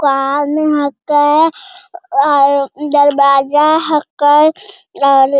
दुकान हैक्य दरवाजा हैक्य और --